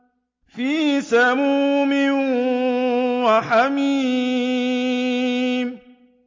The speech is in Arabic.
فِي سَمُومٍ وَحَمِيمٍ